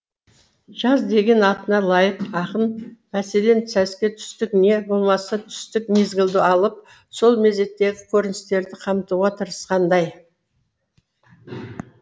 жаз деген атына лайық ақын мәселен сәске түстік не болмаса түстік мезгілді алып сол мезеттегі көріністерді қамтуға тырысқандай